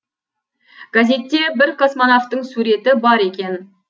газетте бір космонавтың суреті бар екен